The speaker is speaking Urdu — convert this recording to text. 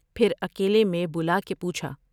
پھرا کیلے میں بلا کے پوچھا ۔